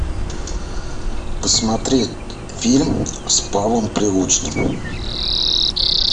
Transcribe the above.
посмотреть фильм с павлом прилучным